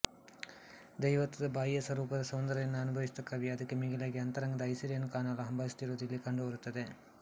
ದೈವತ್ವದ ಬಾಹ್ಯಸ್ವರೂಪದ ಸೌಂದರ್ಯವನ್ನು ಅನುಭವಿಸಿದ ಕವಿ ಅದಕ್ಕೆ ಮಿಗಿಲಾಗಿ ಅಂತರಂಗದ ಐಸಿರಿಯನ್ನು ಕಾಣಲು ಹಂಬಲಿಸುತ್ತಿರುವುದು ಇಲ್ಲಿ ಕಂಡುಬರುತ್ತದೆ